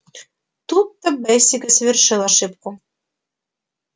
тут то бэсик и совершил ошибку